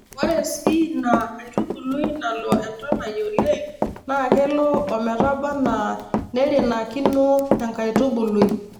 Ore sii Nna aitubului nalo entonai oleng naa kelo ometabaanaa neirinakino enkaitubului.